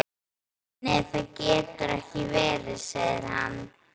Nei það getur ekki verið, segir hann.